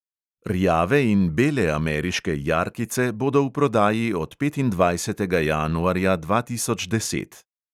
Rjave in bele ameriške jarkice bodo v prodaji od petindvajsetega januarja dva tisoč deset.